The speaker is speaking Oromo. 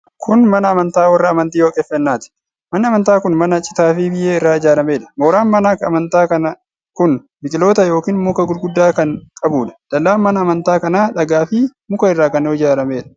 Kun mana amantaa warra amantii Waaqeffannaati. Manni amantaa kun mana citaa fi biyyee irraa ijaaramedha. mooraan mana amanta kun biqiloota yookiin muka gurguddaa kan qabudha. Dallaan mana amantaa kanaa dhagaa fi muka irraa kan ijaaramedha.